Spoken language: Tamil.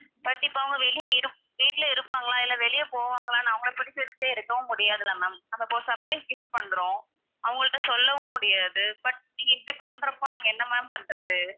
கண்டிப்பா அவங்க வெளிய இருப்~ வீட்ல இருப்பாங்களா இல்ல வெளிய போவாங்களா, அவங்களை புடிச்சு வச்சுக்கிட்டே இருக்கவும் முடியாதுல்ல ma'am surprise gift பண்றோம், அவங்கட்ட சொல்லவும் முடியாது but நீங்க இப்படி பண்றப்ப நாங்க என்ன ma'am பண்றது.